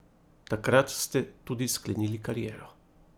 Takrat ste tudi sklenili kariero.